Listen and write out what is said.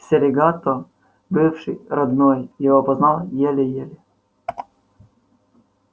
серегато бывший родной его опознал еле-еле